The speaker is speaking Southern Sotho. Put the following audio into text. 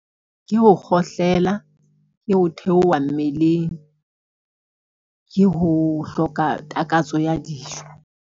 Ke ho kgohlela, ke ho theoha mmeleng, ke ho hloka takatso ya dijo.